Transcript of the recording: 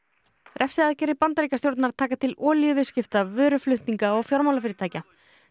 refsiaðgerðir Bandaríkjastjórnar taka til vöruflutninga og fjármálafyrirtækja